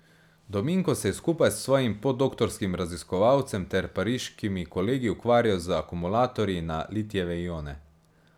Dominko se je skupaj s svojim podoktorskim raziskovalcem ter pariškimi kolegi ukvarjal z akumulatorji na litijeve ione.